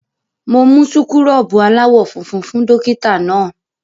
Mo mú súkúrọ́bù aláwọ̀ funfun fún dọ́kítá náà.